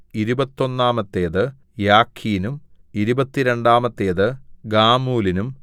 ഇരുപത്തൊന്നാമത്തേത് യാഖീനും ഇരുപത്തിരണ്ടാമത്തേത് ഗാമൂലിനും